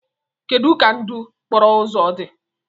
Kedu ka ndụ okporo ụzọ dị?